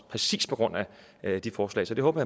præcis på grund af det forslag så det håber